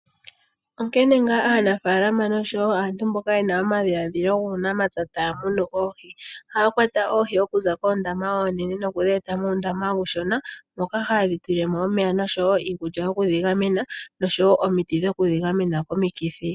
Onkene ngaa aanafaalama osho wo aantu mboka ye na omadhiladhilo guunamapya taya munu oohi. Ohaya kwata oohi oku za koondama oonene no ku dhi eta muundama uushona moka ha ye dhi tulile mo omeya osho wo iikulya niomiti dho ku dhi gamena komikithi.